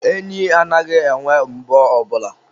enyi anaghị enwe enwe mbọ ọbụla.